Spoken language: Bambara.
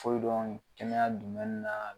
O de dɔrɔn kɛnɛya na